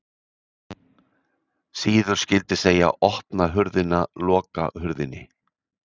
Síður skyldi segja: opna hurðina, loka hurðinni